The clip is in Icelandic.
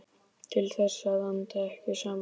Til þess að anda ekki saman.